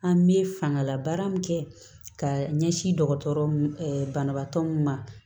An bɛ fangalabaara min kɛ ka ɲɛsin dɔgɔtɔrɔ mun ma